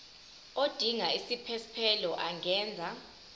odinga isiphesphelo angenza